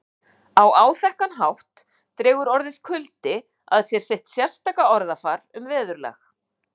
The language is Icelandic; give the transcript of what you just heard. Á áþekkan hátt dregur orðið kuldi að sér sitt sérstaka orðafar um veðurlag